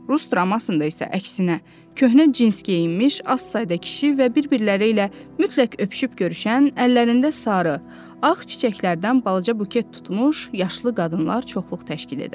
Rus dramında isə əksinə, köhnə cins geyinmiş, az sayda kişi və bir-birləri ilə mütləq öpüşüb görüşən, əllərində sarı, ağ çiçəklərdən balaca buket tutmuş yaşlı qadınlar çoxluq təşkil edərdi.